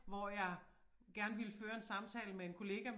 Hvor jeg gerne ville føre en samtale med en kollega